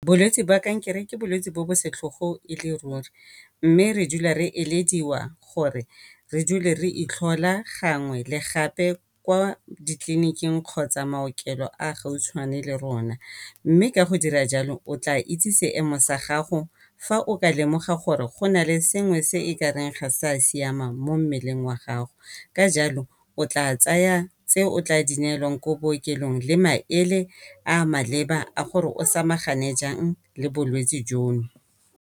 Bolwetsi ba kankere ke bolwetsi jo bo setlhogo go le ruri mme re dula re elediwa gore re dule re itlhola gangwe le gape ko ditleliniking kgotsa maokelo a gautshwane le rona. Mme ka go dira jalo o tla itse seemo sa gago fa o ka lemoga gore go na le sengwe se e ka reng ga se a siamang mo mmeleng wa gago, ka jalo o tla tsaya tse o tla di neelwang kwa bookelong le maele a maleba a gore o samagane jang le bolwetsi jono.